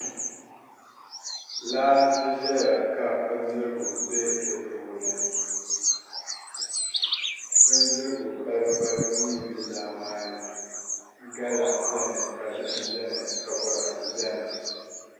Laa n ʒɛya ka bindirigu bɛ di puuni bindirigu balibu balibu mii n bɛ laa maa ni gala bɛni ka zaham bɛni ka boraadɛ bɛni